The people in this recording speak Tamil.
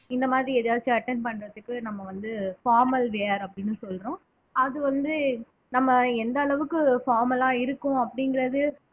இந்த மாதிரி ஏதாச்சும் attend பண்றதுக்கு நம்ம வந்து formal wear அப்படின்னு சொல்றோம் அது வந்து நம்ம எந்த அளவுக்கு formal ஆ இருக்கோம் அப்படிங்கறது